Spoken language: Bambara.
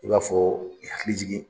I b'a fɔ i hakili jigi